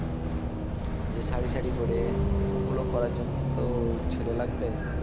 যে সারি সারি করে ওগুলো করার জন্য তো ছেলে লাগবে